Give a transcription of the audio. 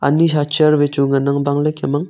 kuni sa chair wai chu ngan ang bang le kem ang.